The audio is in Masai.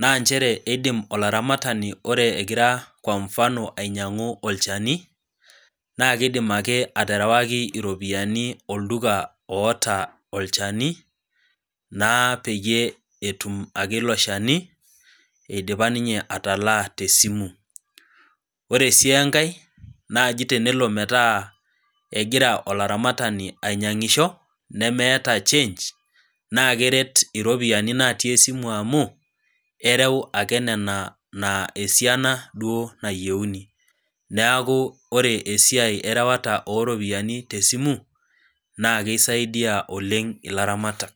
kwa mfano ore egira olaramatani ainyangu olchani ,naaa keidim ake aterewaki ropiyiani olduka oota olchani naa peyei etum ake ninye ilo shani eidipa atalaa tesimu. ore sii enkae tenelo metaa egira olaramatani ainyangisho nemeeta change naa keret iropiyiani natii esimu amu ereu ake nena naa esiana duo nayieuni. neeku ore esiai erewata ooropiyiani tesimu naa kesidia oleng ilaramatak.